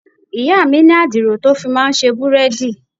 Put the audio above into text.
Ìyá mi ní adiro tó fi máa ń ṣe búrẹ́dì.